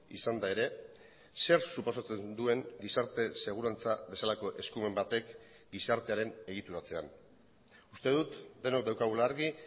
izanda ere zer suposatzen duen gizarte segurantza bezalako eskumen batek gizartearen egituratzean uste dut denok daukagula argi